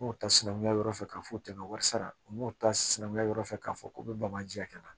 N y'o ta sinankunya yɔrɔ fɛ k'a fɔ o tɛmɛn wari sara u m'o ta sinankunya yɔrɔ fɛ k'a fɔ k'u bɛ bamaji hakɛ kɛ ka na